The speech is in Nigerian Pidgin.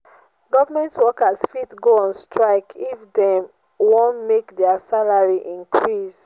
government workers fit go on strike if dem won make their salary increase